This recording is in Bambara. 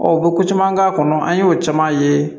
u bɛ ko caman k'a kɔnɔ an y'o caman ye